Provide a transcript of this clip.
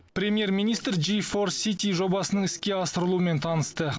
премьер министр джи фор сити жобасының іске асырылуымен танысты